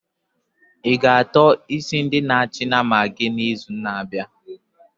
I-ga ató isi ndi na achị nama gị n'izu na-abịa?